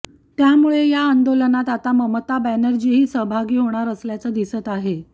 त्यामुळे या आंदोलनात आता ममता बॅनर्जीही सहभागी होणार असल्याचं दिसत आहे